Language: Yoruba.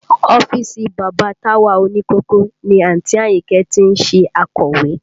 Ọ́fíìsì bàbá Táwà òní kòkó ni àǹtí Àyìnkẹ́ ti ń ṣe akọ̀wé